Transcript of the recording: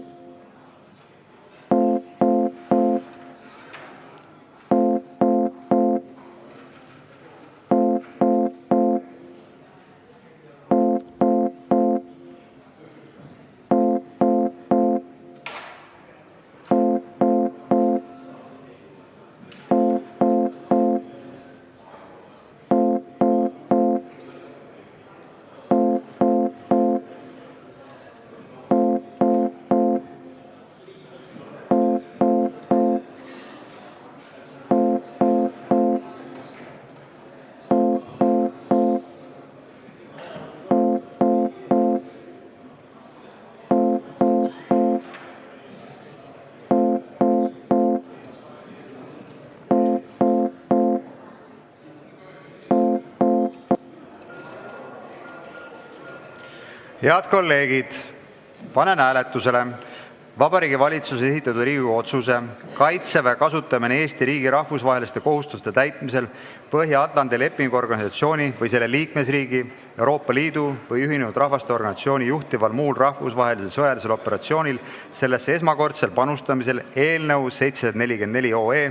Head kolleegid, panen hääletusele Vabariigi Valitsuse esitatud Riigikogu otsuse "Kaitseväe kasutamine Eesti riigi rahvusvaheliste kohustuste täitmisel Põhja-Atlandi Lepingu Organisatsiooni või selle liikmesriigi, Euroopa Liidu või Ühinenud Rahvaste Organisatsiooni juhitaval muul rahvusvahelisel sõjalisel operatsioonil sellesse esmakordsel panustamisel" eelnõu 744.